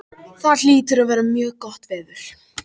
Það hlýtur að vera mjög gott veður.